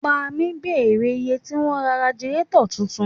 Pámi bèrè iye tí wọ́n ń ra ragilátọ̀ tuntun